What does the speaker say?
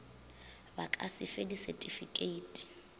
ba ka se fe disetifikeiti